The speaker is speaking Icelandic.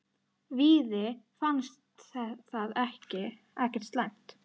Víði fannst það ekkert slæmt.